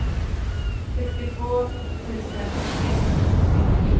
sextiotvå tusen etthundrasjuttio